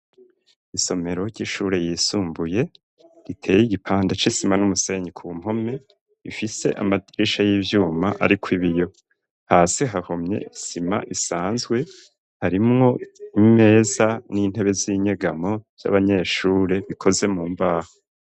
Isomero ry'ishure ryisumbuye riteye igipanda c'isima n'umusenyi ku mpome, ifise amadirisha y'ivyuma ariko ibiyo hasi hahomye isima isanzwe harimwo imeza n'intebe z'inyegamo ry'abanyeshure bikoze mu mbaho.